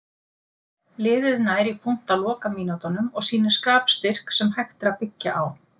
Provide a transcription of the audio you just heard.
Liðið nær í punkt á lokamínútunum og sýnir skapstyrk sem hægt er að byggja á.